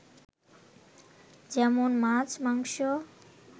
যেমন মাছ, মাংস